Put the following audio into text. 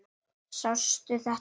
Sástu þetta?